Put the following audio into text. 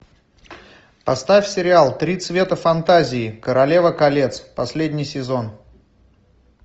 поставь сериал три цвета фантазии королева колец последний сезон